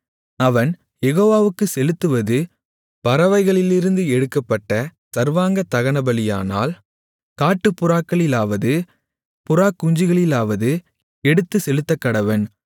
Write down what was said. அவன் யெகோவாவுக்குச் செலுத்துவது பறவைகளிலிருந்து எடுக்கப்பட்ட சர்வாங்க தகனபலியானால் காட்டுப் புறாக்களிலாவது புறாக்குஞ்சுகளிலாவது எடுத்து செலுத்தக்கடவன்